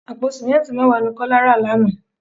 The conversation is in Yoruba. Àpò simẹnti mẹ́wàá ni Kọ́lá rà lánàá.